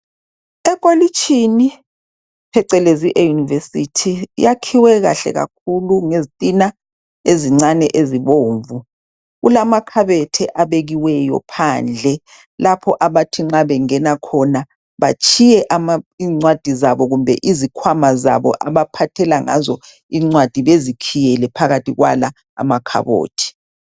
Ekolitshini, phecelezi e-university. Yakhiwe kahle kakhulu! Ngezitina ezincane ezibomvu. Kulamakhabethe, abekiweyo phandle. Lapho abathi nxa bengena khona, batshiye izincwadi zabo kumbe izikhwama zabo abaphathela ngazo izincwadi, bezikhiyele phakathi kwala amakhabothi.